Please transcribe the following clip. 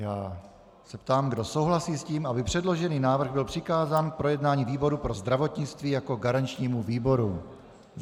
Já se ptám, kdo souhlasí s tím, aby předložený návrh byl přikázán k projednání výboru pro zdravotnictví jako garančnímu výboru.